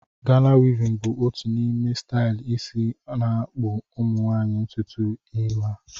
Gana wivin bụ otu n’ime stailu isi na-akpụ Ụmụnwaanyị ntutu ihu ha